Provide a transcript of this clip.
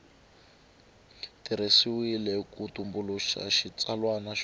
tirhisiwile ku tumbuluxa xitsalwana xo